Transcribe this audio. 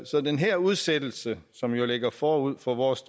så den her udsættelse som jo ligger forud for vores